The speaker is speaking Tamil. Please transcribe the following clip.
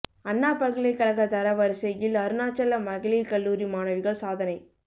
அண்ணா பல்கலைக் கழக தர வரிசையில் அருணாச்சலா மகளிா் கல்லூரி மாணவிகள் சாதனை